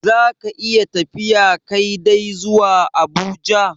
Za ka iya tafiya Kai dai zuwa Abuja?